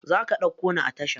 Zaka ɗauko ni a tasha?